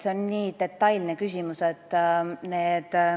See on nii detailne küsimus.